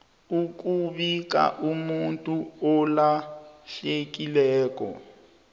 ukubika umuntu olahlekileko